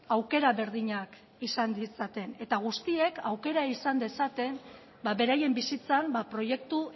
aukera berdinak izan ditzaten eta guztiek aukera izan dezaten beraien bizitzan proiektu